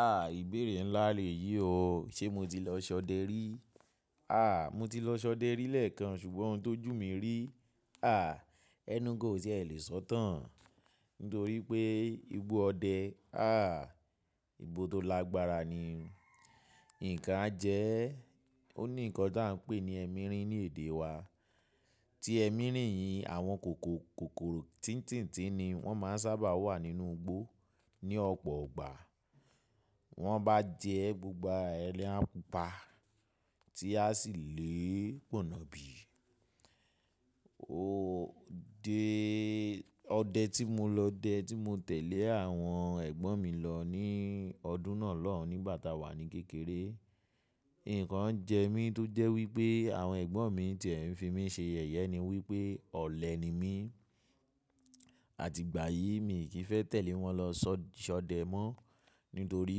Ah ìbéèrè ńlá lèyí o, ṣe mo ti lọ ṣọdẹ rí? Ah mo ti lọ ṣọdẹ rí lẹ́ẹ̀kan ṣùgbọ́n ohun tó jù mí rí, ah enu gan o tie lè sọ̀tàn? Nítorí pé igbó ọdẹ, ah igbó tó lágbára ni. Ǹkan a jẹ, ó ní ǹkan tí à ń pè ní ẹmirin ní èdè wa. Ti ẹmirin yìí àwọn kòkòrò tíńtín tíń ni wọ́n máa ń sábà wà nínú igbó ní ọ̀pọ̀ ọgbà. Wọ́n bá jẹ gbogbo ara e la pupa tí a sì lè pọ̀nà bí. O dé ọdẹ tí mo lọ dẹ tí mo tẹ̀lé àwọn ẹ̀gbọ́n mi lọ ní ọdún náà lọ́hùn nígbà tá a wà ní kékeré. Ǹkan jẹ mí tó jẹ́ wípé àwọn ẹ̀gbọ́n mi tí ẹ̀ ń fi mí ṣe yẹ̀yẹ ni wípé ọ̀lẹ ni mí. Àti ìgbà yìí mi kì í fẹ́ tẹ̀lé wọn lọ ṣọdẹ mọ́. Nítorí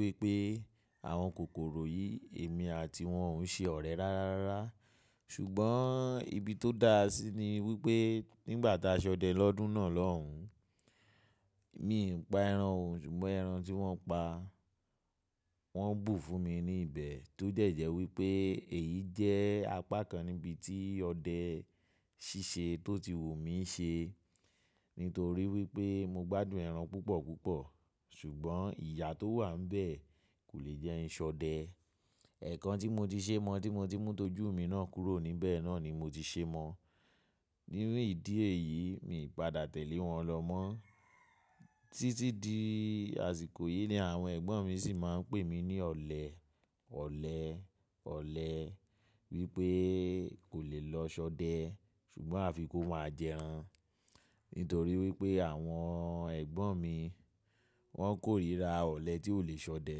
wípé àwọn kòkòrò yìí èmi àti wọn ò ń ṣe ọ̀rẹ́ rárá rárá. Ṣùgbọ́n ibi tó dáa sí i ni wípé nígbà tá a ṣọdẹ lọ́dún náà lọ́hùn, mi pa ẹran òun ṣùgbọ́n ẹran tí wọ́n pa wọ́n bù fún mi ní ibẹ̀ tó jẹ̀ẹ́jẹ̀ wípé èyí jẹ́ apá kan níbi tí ọdẹ ṣíṣe tó ti wù mí ṣe. Nítorí wípé mo gbádùn ẹran púpọ̀ púpọ̀. Ṣùgbọ́n ìyà tó wà níbẹ̀ kò lè jẹ́ ń ṣọdẹ. Ẹ̀kan tí mo ti ṣe mọ́ tí mo ti mú tó jù mí náà kúrò níbẹ̀ náà ni mo ti ṣe mọ́. Nínú ìdí èyí mi padà tẹ̀lé wọn lọ mọ́. Títí di àsìkò yìí ni àwọn ẹ̀gbọ́n mi sì máa ń pè mí ní ọ̀lẹ, ọ̀lẹ, ọ̀lẹ wípé kò lè lọ ṣọdẹ ṣùgbọ́n àfi kó máa jẹ ẹran. Nítorí wípé àwọn ẹ̀gbọ́n mi wọ́n kórìíra ọ̀lẹ tí ò lè ṣọdẹ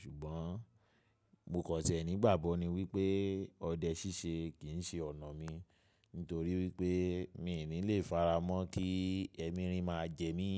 ṣùgbọ́n mo kàn ṣẹ̀ nígbàgbọ́ ni wípé ọdẹ ṣíṣe kì í ṣe ọ̀nà mi. Nítorí wípé mi ò ní lè faramọ́ kí ẹmirin máa jẹ mí.